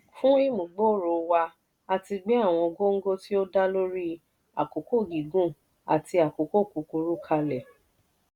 fún ìmúgbòòrò wa a ti gbé àwọn góńgó tí ó dá lórí àkókò gígùn àti àkókò kúkúrú kalẹ̀.